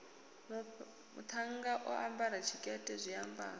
muṱhannga o ambara tshikete zwiambaro